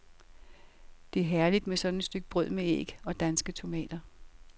Det er herligt med sådan et stykke brød med æg og danske tomater.